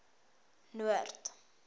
noord